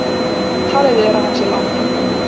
Talið er að hann sé látinn